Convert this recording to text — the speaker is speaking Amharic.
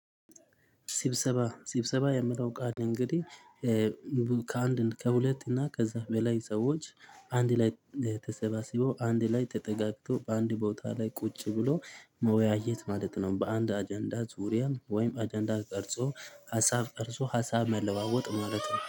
ስብሰባ ስብሰባ የሚለው ቃል እንግዲህ ከአንድ ከሁለት እና ከዛ በላይ ሰዎች አንድ ላይ ተሰባስበው አንድ ላይ ተጠጋግተው በአንድ ቦታ ላይ ቁጭ ብሎ መወያየት ማለት ነው። በአንድ አጀንዳ ዙሪያም ወይም አጀንዳ ቀርጾ ሀሳብ ቀርጾ ሀሳብ መለዋወጥ ማለት ነው